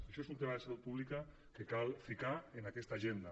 això és un tema de salut pública que cal ficar en aquesta agenda